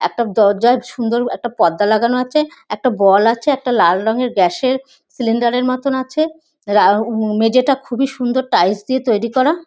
একটা দরজায় একটা সুন্দর একটা পর্দা লাগানো আছে। একটা বল আছে। একটা লাল রঙের গ্যাস এর সিলিন্ডার এর মতো আছে। লা উ মেঝেটা খুবই সুন্দর টাইলস দিয়ে তৈরি করা।